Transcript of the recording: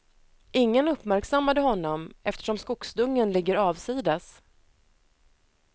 Ingen uppmärksammade honom eftersom skogsdungen ligger avsides.